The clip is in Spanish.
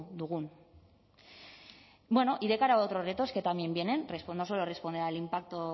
dugun bueno y de cara a otros retos que también vienen no solo responder al impacto